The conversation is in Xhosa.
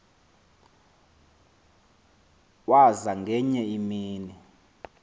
waza ngenye imini